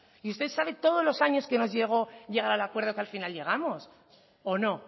y usted sabe todos los años que nos llevó al acuerdo que al final llegamos o no